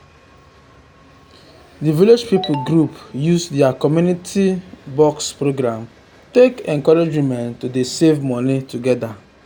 the village people group use their community um box program take encourage women to dey save money together.